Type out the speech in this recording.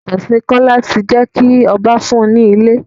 Ìfọkànsìn Kọ́lá ti jé kí ọba fún un ní ilé.